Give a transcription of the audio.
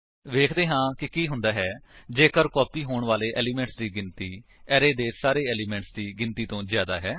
ਵੇਖਦੇ ਹਾਂ ਕਿ ਕੀ ਹੁੰਦਾ ਹੈ ਜੇਕਰ ਕਾਪੀ ਹੋਣ ਵਾਲੇ ਏਲਿਮੇਂਟਸ ਦੀ ਗਿਣਤੀ ਅਰੇ ਦੇ ਸਾਰੇ ਏਲਿਮੇਂਟਸ ਦੀ ਗਿਣਤੀ ਤੋ ਜਿਆਦਾ ਹੈ